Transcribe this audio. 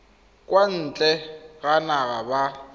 kwa ntle ga naga ba